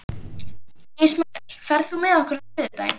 Ismael, ferð þú með okkur á þriðjudaginn?